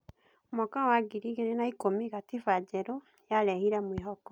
Mwaka wa ngiri igĩrĩ na ikũmi, gatiba njerũ yarehire mwĩhoko.